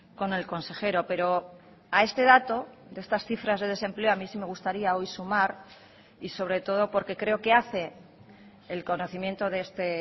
con el consejero pero a este dato de estas cifras de desempleo a mí sí me gustaría hoy sumar y sobre todo porque creo que hace el conocimiento de este